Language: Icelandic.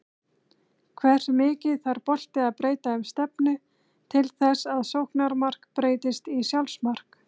Hversu mikið þarf bolti að breyta um stefnu til þess að sóknarmark breytist í sjálfsmark?